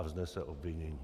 A vznese obvinění.